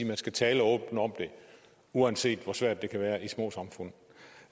man skal tale åbent om det uanset hvor svært det kan være i de små samfund